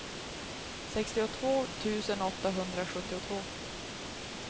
sextiotvå tusen åttahundrasjuttiotvå